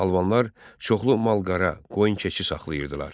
Albanlar çoxlu mal-qara, qoyun-keçi saxlayırdılar.